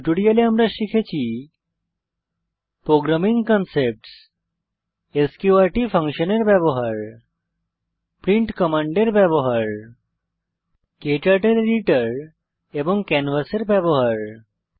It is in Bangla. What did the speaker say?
এই টিউটোরিয়ালে আমরা শিখেছি প্রোগ্রামিং কনসেপ্টস স্ক্যুর্ট ফাংশনের ব্যবহার প্রিন্ট কমান্ডের ব্যবহার ক্টার্টল এডিটর এবং ক্যানভাসের ব্যবহার